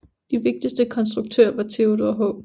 De vigtigste konstruktører var Theodore H